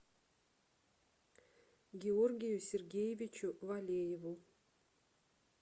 георгию сергеевичу валееву